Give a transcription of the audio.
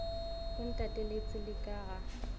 o ntateletše le ka ga